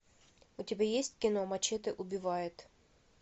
у тебя есть кино мачете убивает